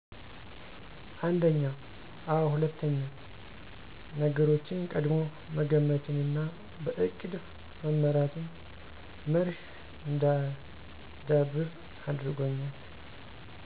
አንድኛ፦ አዎ ሁለትኛ፦ ነገሮችን ቀድሞ መገመትንና በእቅድ መመራትን መርህ እንዳዳብር አድርጎኛል።